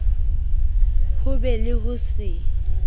ho be le ho se